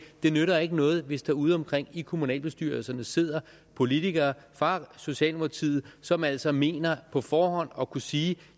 det nytter ikke noget hvis der ude omkring i kommunalbestyrelserne sidder politikere fra socialdemokratiet som altså mener på forhånd at kunne sige